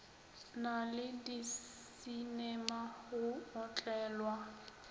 na le disinema go otlelwa